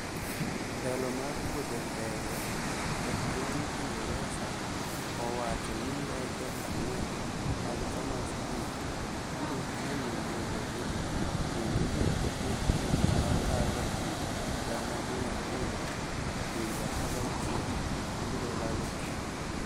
Telo mar wuothe ndege e piny ingresa ,owacho ni ndeke ang'wen mag Thomas cook ,biro chungo wuothegi, kendo jotije gi makalo ji gana mia ariyo e pinje 16 biro lalo tich.